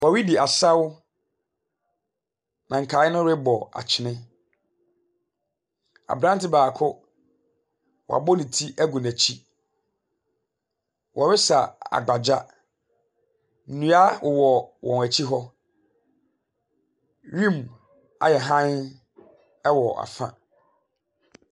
Wɔredi asaw, na nkae no rebɔ akyene, abrante baako abɔ ne ti agu n'akyi. Wɔresaw agbagya, nnua wɔ wɔn akyi hɔ. Wim ayɛ hann wɔ afa.